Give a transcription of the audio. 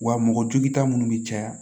Wa mɔgɔ jugu ta minnu bɛ caya